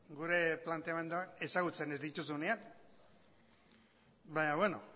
gure planteamendua ezagutzen ez dituzunean baina beno